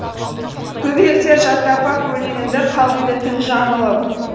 көбелектер жаттап ап өлеңімді қалғиды түн жамылып